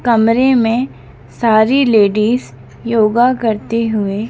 कमरे में सारी लेडिस योगा करते हुए--